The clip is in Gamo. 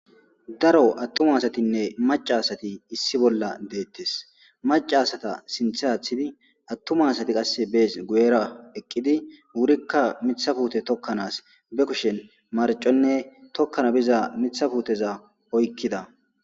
Daro atuma asatinne maca asati issi bolla deettes maca asata sinthe aththida atuma asati qase bes guyera eqidi wurika miththa puutte tokanas be kushshen marconne tokana biza miththa putteza oykkida